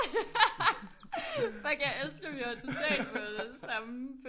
Fuck jeg elsker vi har totalt fået samme